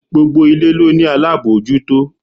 Gbogbo ilé ló ní alábòójútó.